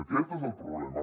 aquest és el problema